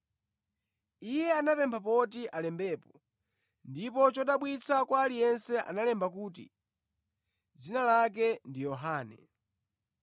Iye anapempha poti alembepo, ndipo chodabwitsa kwa aliyense analemba kuti, “Dzina lake ndi Yohane.”